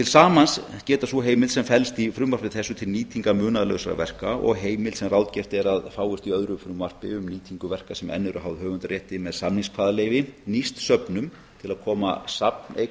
til saman geta sú heimild sem felst í frumvarpi þessu til nýtingar munaðarlausra verka og heimild sem ráðgert er að fáist í öðru frumvarpi um nýtingu verka sem enn eru háð höfundarétti með samingskvaðaleyfi nýst söfnum til að koma safneign